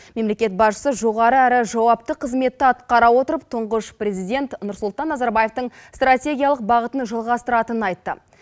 мемлекет басшысы жоғары әрі жауапты қызметті атқара отырып тұңғыш президент нұрсұлтан назарбаевтың стратегиялық бағытын жалғастыратынын айтты